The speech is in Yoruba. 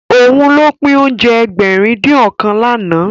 Òun ló pín oúnjẹ Ẹgbẹ̀rin-dín-ọ̀kan lánàá